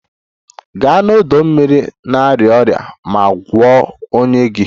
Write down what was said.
Gaa n'ọdọ mmiri na-arịa ọrịa ma gwọọ ọnya gị!